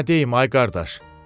Nə deyim, ay qardaş.